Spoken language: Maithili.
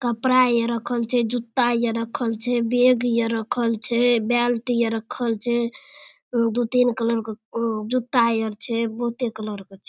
कपड़ा हेये रखल छै जूता हेये रखल छै बैग हेये रखल छै बेल्ट हेये रखल छै दो-तीन कलर के जूता यार छै बहुते कलर के छै।